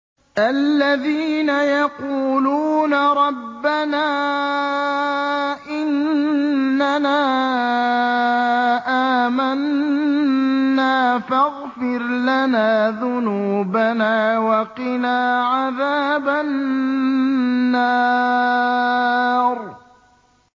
الَّذِينَ يَقُولُونَ رَبَّنَا إِنَّنَا آمَنَّا فَاغْفِرْ لَنَا ذُنُوبَنَا وَقِنَا عَذَابَ النَّارِ